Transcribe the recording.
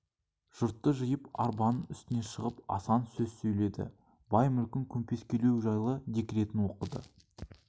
жұртты жиып арбаның үстіне шығып асан сөз сөйледі бай мүлкін көмпескелеу жайлы декретін оқыды